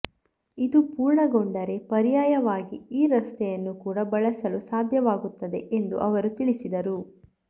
ಇದು ಪೂರ್ಣಗೊಂಡರೆ ಪರ್ಯಾಯವಾಗಿ ಈ ರಸ್ತೆಯನ್ನು ಕೂಡಾ ಬಳಸಲು ಸಾಧ್ಯವಾಗುತ್ತದೆ ಎಂದು ಅವರು ತಿಳಿಸಿದರು